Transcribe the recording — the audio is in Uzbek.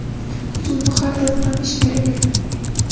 Lekin bu har doim ham ish beravermaydi.